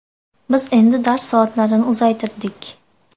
Biz endi dars soatlarini uzaytirdik.